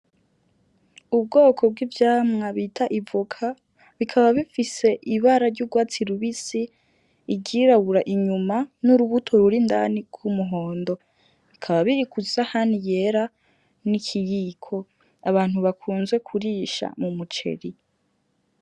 Ubwoko bw'ivyamwa bita ivoka bikaba bifise ibara ry'ugwatsi rubisi, iryirabura inyuma, n’urubuto rurindani gw’umuhondo; bikaba biri kwisahani yera n'ikiyiko abantu bakunze kurisha mumuceri.